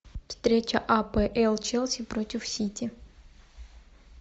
встреча апл челси против сити